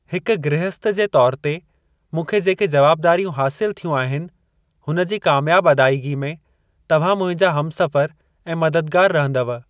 हिकु गृहस्‍थ जे तौरु ते मूंखे जेके जवाबदारियूं हासिल थियूं आहिनि, हुनजी कामयाब अदायगी में तव्‍हां मुहिंजा हमसफर ऐं मददगार रहंदव।